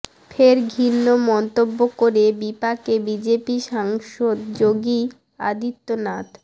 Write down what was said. ফের ঘৃণ্য মন্তব্য করে বিপাকে বিজেপি সাংসদ যোগী আদিত্যনাথ